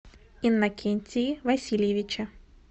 иннокентии васильевиче